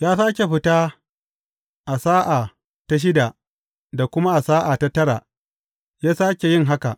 Ya sāke fita a sa’a ta shida da kuma sa’a ta tara, ya sāke yin haka.